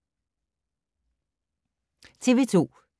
TV 2